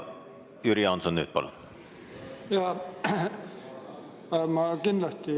Jüri Jaanson, palun!